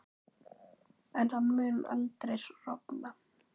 En hann mun aldrei rofna.